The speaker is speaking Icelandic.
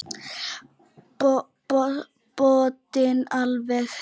Botninn alveg hreinn.